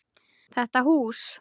Þetta hús?